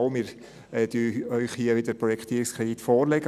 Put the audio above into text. Doch, wir legen Ihnen hier den Projektierungskredit vor.